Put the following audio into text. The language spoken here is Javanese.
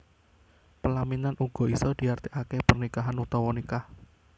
Pelaminan uga isa diartiake pernikahan utawa nikah